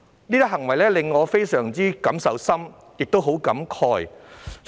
這些行為令我有很深的感受，亦非常感慨。